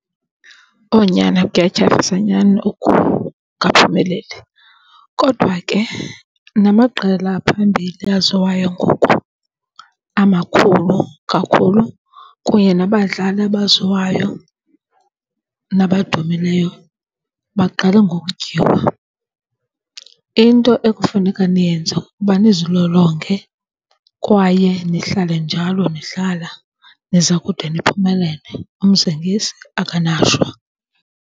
Owu, nyana, kuyatyhafisa nyani ukungaphumeleli. Kodwa ke namaqela aphambili aziwayo ngoku amakhulu kakhulu kunye nabadlali abaziwayo nabadumileyo baqale ngokutyiwa. Into ekufuneka niyenze kukuba nizilolonge kwaye nihlale njalo, nidlala. Niza kude niphumelele, umzingisi akanashwa.